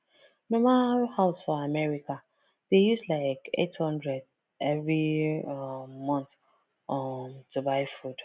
normal house for america dey use like 800 every um month um to buy food